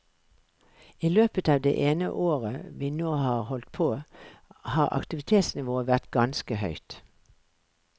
I løpet av det ene året vi nå har holdt på har aktivitetsnivået vært ganske høyt.